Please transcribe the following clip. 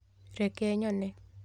Reke nyone